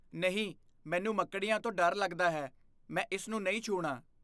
ਨਹੀਂ! ਮੈਨੂੰ ਮੱਕੜੀਆਂ ਤੋਂ ਡਰ ਲੱਗਦਾ ਹੈ। ਮੈਂ ਇਸ ਨੂੰ ਨਹੀਂ ਛੂਹਣਾ ।